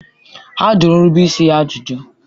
A jụrụ nrubeisi ya ajụjụ.